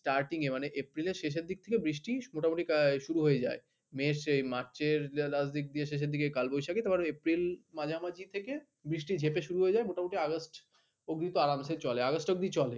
starting মানে april এর শেষের দিক থেকে মোটামুটি বৃষ্টি শুরু হয়ে যায়। মে আসে মার্চের last দিকে শেষের দিকে কালবৈশাখী তারপর april এর মাঝামাঝি থেকে বৃষ্টি যেঁপে শুরু হয়ে যায় মোটামুটি august অব্দি আরামসে চলে august অব্দি চলে।